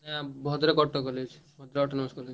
ଆଁ Bhadrak Autonomous college ।